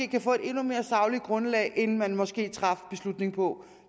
kan få et endnu mere sagligt grundlag end man måske traf beslutningen på